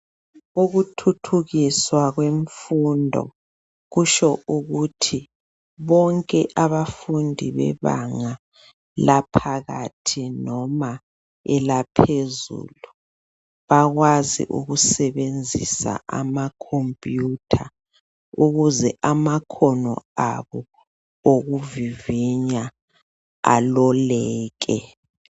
Ukuthuthukiswa kwemfundo kutsho ukuthi bonke abafundi bebanga laphakathi noma eliphezulu bayakwazi ukusebenzisa amakhompuyitha ukuze amakhono abo okuvivinya aloleke.